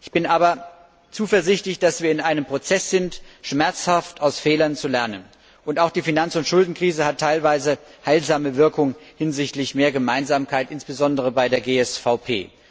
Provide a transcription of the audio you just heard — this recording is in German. Ich bin aber zuversichtlich, dass wir in einem Prozess sind, schmerzhaft aus Fehlern zu lernen. Und auch die Finanz und Schuldenkrise hat teilweise heilsame Wirkung hinsichtlich mehr Gemeinsamkeit, insbesondere bei der GSVP.